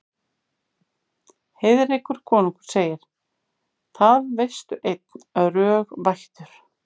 Heiðrekur konungur segir: Það veistu einn, rög vættur